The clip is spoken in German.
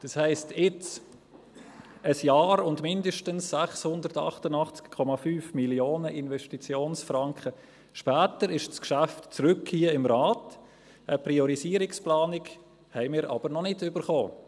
Das heisst: Jetzt, ein Jahr und mindestens 688,5 Mio. Investitionsfranken später, ist das Geschäft zurück hier im Rat, eine Priorisierungsplanung haben wir aber noch nicht bekommen.